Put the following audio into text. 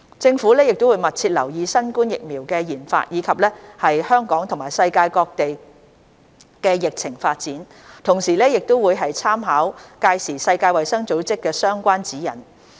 政府會密切留意新冠疫苗的研發，以及香港和世界各地的疫情發展，同時亦會參考屆時世衞的相關指引。